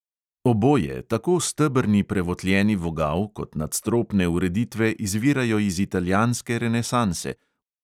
Oboje, tako stebrni prevotljeni vogal kot nadstropne ureditve izvirajo iz italijanske renesanse.